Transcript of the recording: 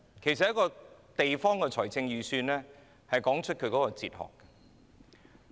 其實，一個地方的財政預算可反映其管治哲學。